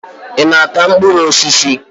Ị na-ata mkpụrụ osisi?